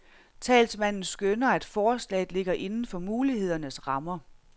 Talsmanden skønner, at forslaget ligger inden for mulighedernes rammer.